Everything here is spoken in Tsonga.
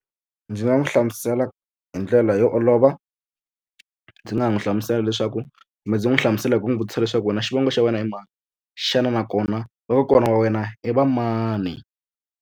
Ndzi nga n'wi hlamusela hi ndlela yo olova ndzi nga n'wi hlamusela leswaku kumbe ndzi n'wi hlamusela hi ku n'wi vutisa leswaku wena xivongo xa wena i mani xana nakona vakokwana wa wena i va mani.